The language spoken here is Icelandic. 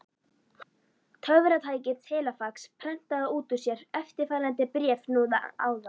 Töfratækið telefax prentaði út úr sér eftirfarandi bréf núna áðan.